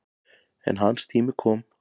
En hans tími kom.